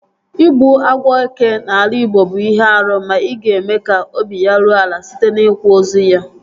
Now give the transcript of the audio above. Ịgbu agwọ eke n'ala igbo bụ ihe árú ma ị ga-eme ka obi ya ruo ala site n'ikwa ozu ya